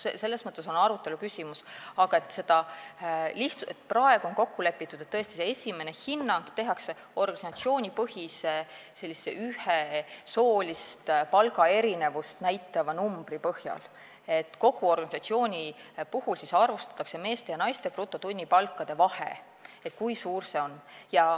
See on arutelu küsimus, aga praegu on kokku lepitud, et esimene hinnang tehakse ühe organisatsioonipõhise soolist palgaerinevust näitava numbri põhjal, kogu organisatsioonis arvutatakse välja meeste ja naiste brutotunnipalkade vahe, kui suur see on.